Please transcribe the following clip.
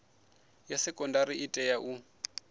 ya sekondari i tea u